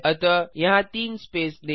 अतः यहाँ तीन स्पेस दें